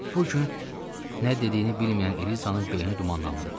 Bu gün nə dediyini bilməyən Elizanın beyni dumanlandı.